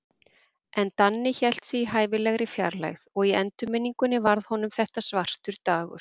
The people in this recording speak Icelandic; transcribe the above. En Danni hélt sig í hæfilegri fjarlægð, og í endurminningunni varð honum þetta svartur dagur.